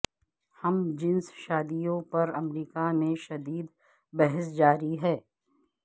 ہم جنس شادیوں پر امریکہ میں شدید بحث جاری ہے